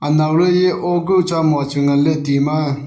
anau ley eya o kuh chia moa chu ngan ley ti ma.